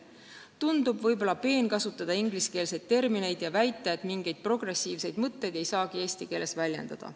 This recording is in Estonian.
Tundub võib-olla peen kasutada ingliskeelseid termineid ja väita, et mingeid progressiivseid mõtteid ei saagi eesti keeles väljendada.